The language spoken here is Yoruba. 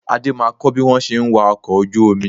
Adé máa kọ́ bí wọn ṣe ń wa ọkọ̀ ojú omi